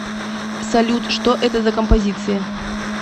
салют что это за композиция